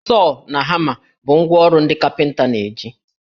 Sọọ na hama bụ ngwá ọrụ ndị kapịnta na-eji